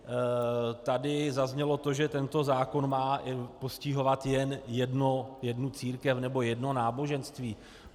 Tady zaznělo to, že tento zákon má postihovat jen jednu církev nebo jedno náboženství.